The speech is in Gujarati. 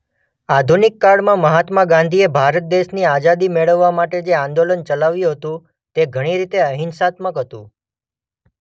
આધુનિક કાળમાં મહાત્મા ગાંધીએ ભારત દેશની આઝાદી મેળવવા માટે જે આંદોલન ચલાવ્યું હતું તે ઘણી રીતે અહિંસાત્મક હતું.